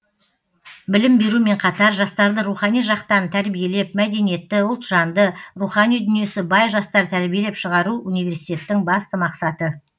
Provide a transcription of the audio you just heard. білім берумен қатар жастарды рухани жақтан тәрбиелеп мәдениетті ұлтжанды рухани дүниесі бай жастар тәрбиелеп шығару университеттің басты мақсаты